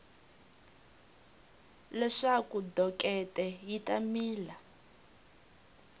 leswaku dokete yi ta mila